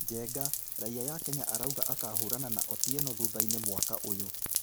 Njenga, raiya ya Kenya arauga akahũrana na Otieno thutha-inĩ mwaka ũyũ